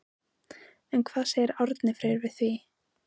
En hvað segir Árni Freyr við því?